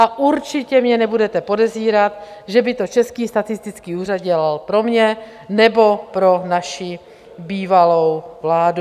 A určitě mě nebudete podezírat, že by to Český statistický úřad dělal pro mě nebo pro naši bývalou vládu.